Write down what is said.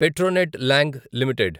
Petronet long limited